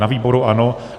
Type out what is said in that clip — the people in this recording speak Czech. Na výboru ano.